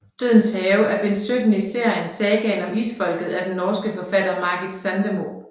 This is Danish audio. Dødens Have er bind 17 i serien Sagaen om Isfolket af den norske forfatter Margit Sandemo